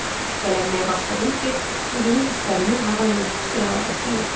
Şübhələnməyə başladım ki, bu yeni hisslərimin hava ilə heç bir əlaqəsi yoxdur.